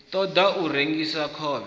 ṱo ḓa u rengisa khovhe